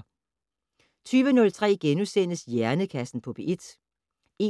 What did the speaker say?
20:03: Hjernekassen på P1 * 21:03: